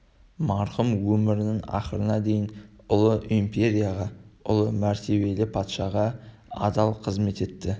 марқұм өмірінің ақырына дейін ұлы империяға ұлы мәртебелі патшаға адал қызмет етті